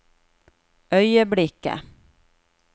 øyeblikket